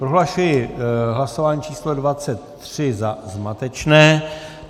Prohlašuji hlasování číslo 23 za zmatečné.